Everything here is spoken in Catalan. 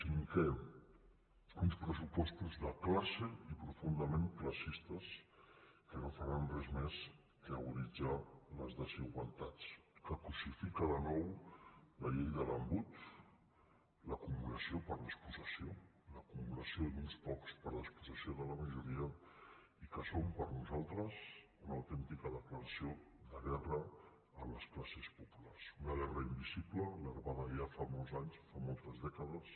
cinquè uns pressupostos de classe i profundament classistes que no faran res més que aguditzar les desigualtats que crucifica de nou la llei de l’embut l’acumulació per despossessió l’acumulació d’uns pocs per despossessió de la majoria i que són per nosaltres una autèntica declaració de guerra a les classes populars una guerra invisible larvada ja fa molts anys fa moltes dècades